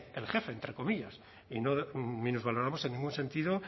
el jefe y no minusvaloramos en ningún sentido